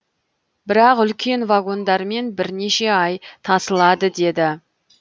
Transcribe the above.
бірақ үлкен вагондармен бірнеше ай тасылады деді